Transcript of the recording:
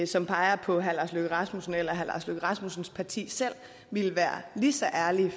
som peger på herre lars løkke rasmussen eller herre lars løkke rasmussens parti ville være lige så ærlige